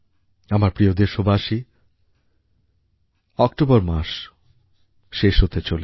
আমার প্রিয় দেশবাসী অক্টোবর মাস শেষ হতে চলেছে